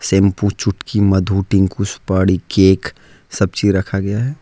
Shampoo चुटकी मधु टीकू सुपारी केक सब चीज रखा गया है।